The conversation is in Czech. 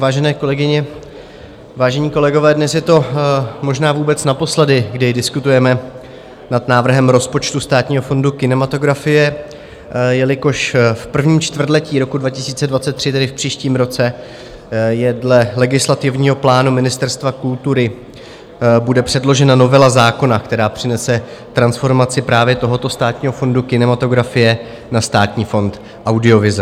Vážené kolegyně, vážení kolegové, dnes je to možná vůbec naposledy, kdy diskutujeme nad návrhem rozpočtu Státního fondu kinematografie, jelikož v prvním čtvrtletí roku 2023, tedy v příštím roce, dle legislativního plánu Ministerstva kultury bude předložena novela zákona, která přinese transformaci právě tohoto Státního fondu kinematografie na Státní fond audiovize.